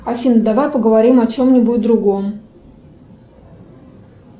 афина давай поговорим о чем нибудь другом